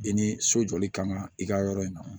I ni so jɔli ka kan ka i ka yɔrɔ in na